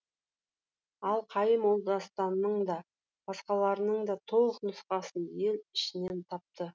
ал қайым ол дастанның да басқаларының да толық нұсқасын ел ішінен тапты